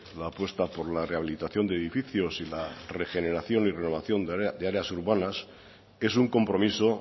la apuesta por la rehabilitación de edificios y la regeneración y renovación de áreas urbanas es un compromiso